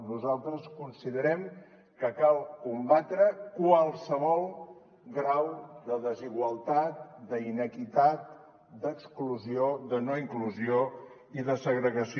nosaltres considerem que cal combatre qualsevol grau de desigualtat d’inequitat d’exclusió de no inclusió i de segregació